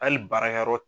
Hali baarakɛyɔrɔ